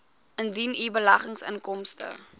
indien u beleggingsinkomste